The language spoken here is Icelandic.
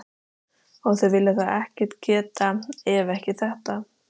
Og þeir vilja þá ekkert geta, ef ekki þetta.